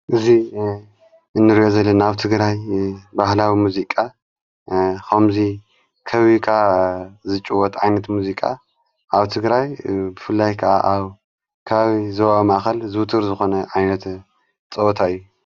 እዙይ እንርዮ ዘለ ናውቲ ግራይ ባህላዊ ሙዚቃ ኸምዙይ ከዊካ ዝጭወት ኣይንት ሙዚቃ ኣብ ትግራይ ብፍላይ ከዓ ኣብ ከባቢ ዞባ ዋማኣኸል ዝውትር ዝኾነ ኣይነተ ጸወታ እዩ።